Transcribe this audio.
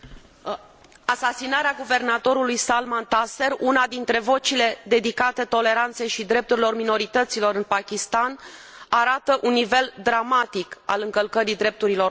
Asasinarea guvernatorului Salman Taseer, una dintre vocile dedicate toleranței și drepturilor minorităților în Pakistan, arată un nivel dramatic al încălcării drepturilor omului.